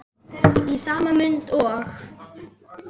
Í sama mund og